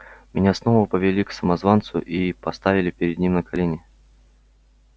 меня снова повели к самозванцу и поставили перед ним на колени